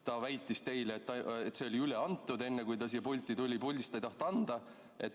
Ta väitis teile, et see on üle antud, kui ta siia pulti tuli, puldist ta ei tahtnud anda.